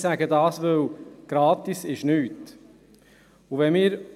Ich möchte jedoch darauf aufmerksam machen, dass nichts gratis ist.